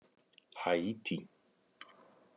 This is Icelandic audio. Haítí